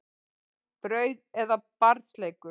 Brauð er barns leikur.